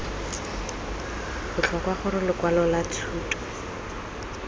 botlhokwa gore lokwalo lwa thuto